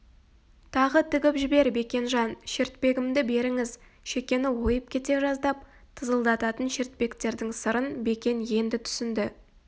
тағы тігіп жібер бекенжан шертпегімді беріңіз шекені ойып кете жаздап тызылдататын шертпектердің сырын бекен енді түсінді